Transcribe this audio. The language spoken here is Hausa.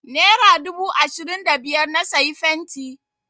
Nera dubu ashirin da biyar na sayi fenti.